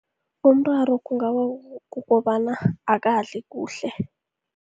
Umraro kungaba kukobana akadli kuhle.